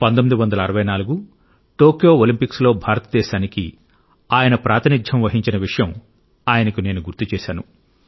1964 Tokyo ఒలింపిక్స్లో భారతదేశానికి ఆయన ప్రాతినిధ్యం వహించిన విషయం ఆయనకు నేను గుర్తుచేశాను